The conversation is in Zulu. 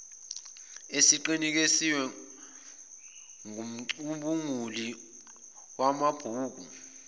esiqinisekiswe ngumcubunguli wamabhuku